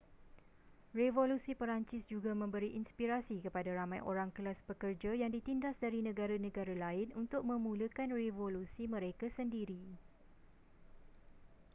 revolusi perancis juga memberi inspirasi kepada ramai orang kelas pekerja yang ditindas dari negara-negara lain untuk memulakan revolusi mereka sendiri